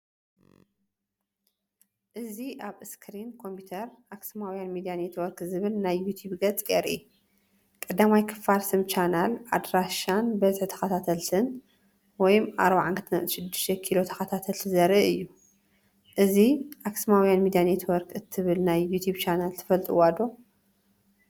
እዚ ኣብ ስክሪን ኮምፒተር “ኣክሱማዊያን ሚድያ ኔትወርክ” ዝብል ናይ ዩቱብ ገጽ የርኢ። ቀዳማይ ክፋል ስም ቻነል፡ ኣድራሻን ብዝሒ ተኸታተልቲን (42.6K ተኸታተልቲ) ዘርኢ እዩ። እዚ “ኣኽሱማዊያን ሚድያ ኔትወርክ” እትብል ናይ ዩቱብ ቻነል ትፈልጥዋ ዶ?